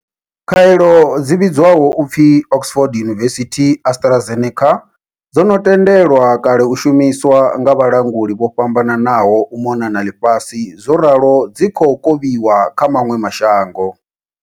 Khaelo dzi vhidzwaho u pfi Oxford University-AstraZeneca dzo no tendelwa kale u shumiswa nga vhalanguli vho fhambananaho u mona na ḽifhasi zworalo dzi khou kovhiwa kha maṅwe ma shango.